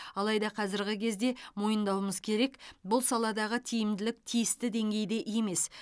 алайда қазіргі кезде мойындауымыз керек бұл саладағы тиімділік тиісті деңгейде емес